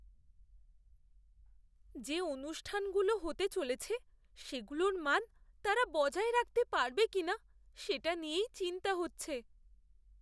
যে অনুষ্ঠানগুলো হতে চলেছে সেগুলোর মান তারা বজায় রাখতে পারবে কিনা সেটা নিয়েই চিন্তা হচ্ছে।